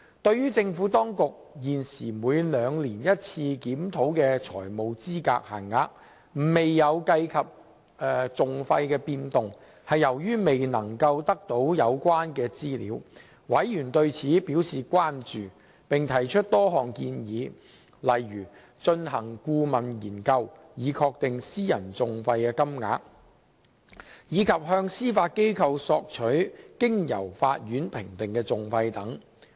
對於政府當局現時每兩年一次檢討的財務資格限額未有計及訟費變動，是由於未能得到有關資料，委員對此表示關注並提出多項建議，例如進行顧問研究以確定私人訟費金額，以及向司法機構索取經由法院評定的訟費等。